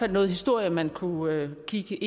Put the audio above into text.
noget historie man kunne kigge